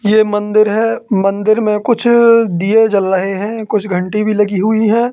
यह मंदिर है मंदिर में कुछ दिए जल रहे हैं कुछ घंटी भी लगी हुई है।